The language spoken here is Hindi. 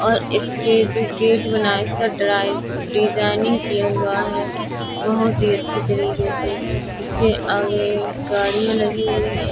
और इसके गेट बना है। इसका डिजाइनिंग किया हुआ है बहोत ही अच्छे तरीके से। इसके आगे गाड़ियां लगी हुई है ।